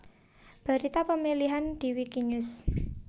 Berita pemilihan di Wikinews